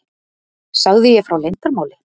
Sagði ég frá leyndarmáli?